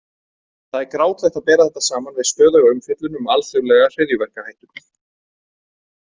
Það er grátlegt að bera þetta saman við stöðuga umfjöllun um „alþjóðlega hryðjuverkahættu“.